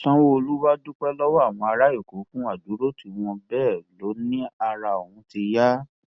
sanwóoru wàá dúpẹ lọwọ àwọn ará èkó fún àdúrótì wọn bẹẹ ló ní ara òun ti ń yá